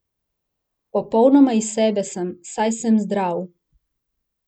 Popolnoma iz sebe sem, saj sem zdrav.